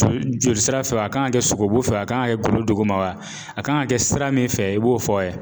joli jolisira fɛ wa a kan ga kɛ sogobu fɛ wa a kan ga kɛ golo duguma wa a kan ka kɛ sira min fɛ i b'o fɔ a ye